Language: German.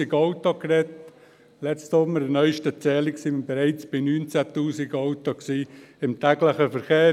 Bei der neusten Zählung letzten Sommer waren wir bereits bei 19 000 Autos im täglichen Verkehr.